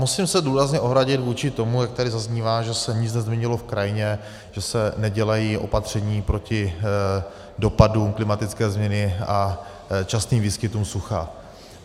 Musím se důrazně ohradit vůči tomu, jak tady zaznívá, že se nic nezměnilo v krajině, že se nedělají opatření proti dopadům klimatické změny a častým výskytům sucha.